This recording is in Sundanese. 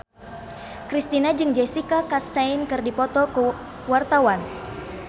Kristina jeung Jessica Chastain keur dipoto ku wartawan